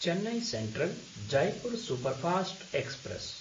Chennai सेन्ट्रल्–जयपुर् superfast express